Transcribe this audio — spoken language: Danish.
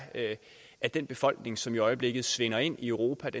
at den befolkning som i øjeblikket svinder ind i europa